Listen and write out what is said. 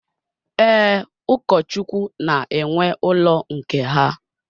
Ee, Ụkọchukwu na-enwe ụlọ nke ha.